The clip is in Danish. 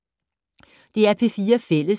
DR P4 Fælles